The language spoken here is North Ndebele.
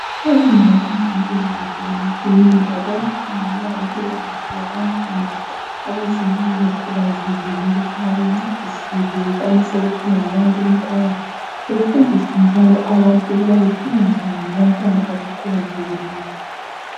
Ezindaweni zempilakahle lemakilinika bayakhangela impilakahle yabantwana abazelwe bekhubazekile ukubana bencedise bekwanise ukuphila labantu kuphakathi, befundise njalo labantu ukuba bephile njani labantwana abakhubazekileyo.